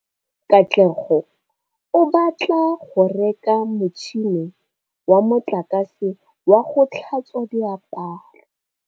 Katlego o batla go reka motšhine wa motlakase wa go tlhatswa diaparo.